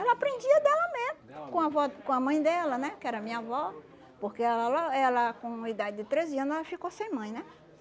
Ela aprendia dela mesmo, com a vó com a mãe dela, né, que era minha avó, porque ela la ela com idade de treze ano ela ficou sem mãe, né?